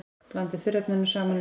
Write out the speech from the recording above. Blandið þurrefnunum saman í skál.